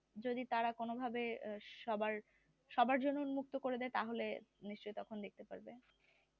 যদি তারা কোনো ভাবে সবার জন্যে উন্মুক্ত করে দেয় তাহলে নিশ্চয় তখন দেখতে পারবে